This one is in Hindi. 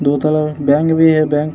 दो तरफ बैंक भी है बैंक --